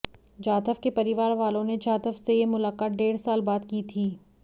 जाधव के परिवार वालों ने जाधव से यह मुलाक़ात डेढ़ साल बाद की थी